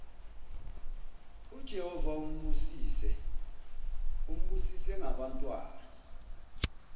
ujehova umbusise ngabantwana